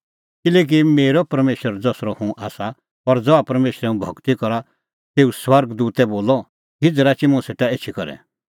किल्हैकि मेरअ परमेशर ज़सरअ हुंह आसा और ज़हा परमेशरै हुंह भगती करा तेऊए स्वर्ग दूतै बोलअ हिझ़ राची मुंह सेटा एछी करै